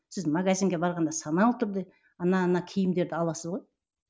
сіз магазинге барғанда саналы түрде ана ана киімдерді аласыз ғой